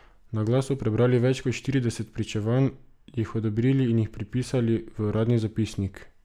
Na glas so prebrali več kot štirideset pričevanj, jih odobrili in jih prepisali v uradni zapisnik.